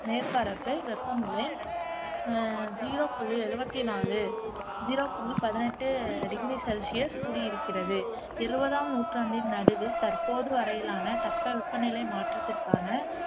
மேற்பரப்பு வெப்பநிலை அஹ் ஜீரோ புள்ளி எழுவத்தி நாலு ஜீரோ புள்ளி பதினெட்டு டிகிரி செலிசியஸ் கூடியிருக்கிறது இருபதாம் நூற்றாண்டின் நடுவில் தற்போது வரையிலான தட்பவெப்பநிலை மாற்றத்திற்கான